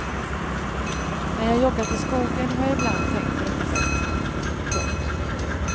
När jag joggat i skogen har jag ibland tänkt på detta sätt. punkt